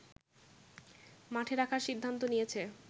মাঠে রাখার সিদ্ধান্ত নিয়েছে